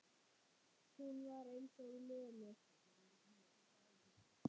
Hún var eins og lömuð.